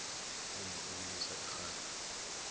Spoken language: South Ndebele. umma ubilisa irhabha